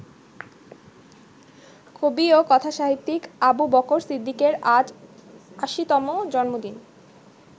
কবি ও কথাসাহিত্যিক আবু বকর সিদ্দিকের আজ ৮০তম জন্মদিন।